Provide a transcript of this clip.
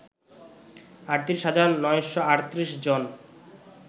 ৩৮ হাজার ৯৩৮ জন